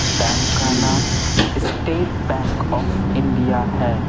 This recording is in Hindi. बैंक का नाम स्टेट बैंक ऑफ इंडिया है।